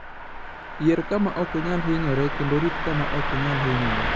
Yier kama ok inyal hinyoree kendo rit kama ok inyal hinyoree.